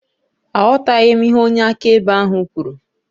Aghọtaghị m ihe onye akaebe ahụ kwuru